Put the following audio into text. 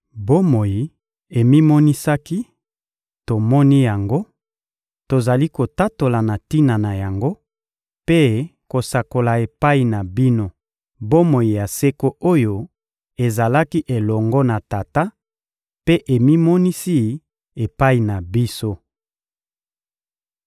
Bomoi emimonisaki; tomoni yango, tozali kotatola na tina na yango mpe kosakola epai na bino bomoi ya seko oyo ezalaki elongo na Tata mpe emimonisi epai na biso.